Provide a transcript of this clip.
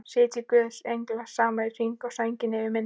Sitji guðs englar saman í hring, sænginni yfir minni.